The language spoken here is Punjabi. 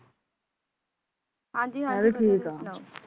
ਹਾਂਜੀ ਹਾਂਜੀ ਵੱਧੀਆਂ ਤੁਸੀ ਸੁਣਾਉ ਮੈ ਵਿਡ ਠੀਕ ਆ